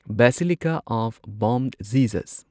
basilica of Bom Jesus